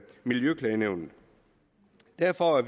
miljøklagenævnet derfor er